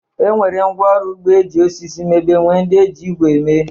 E nwere ngwá ọrụ ugbo e ji osisi mebe nwee ndị e ji igwe mee.